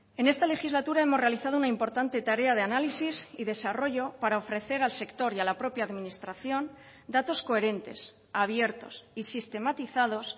en esta legislatura hemos realizado una importante tarea de análisis y desarrollo para ofrecer al sector y a la propia administración datos coherentes abiertos y sistematizados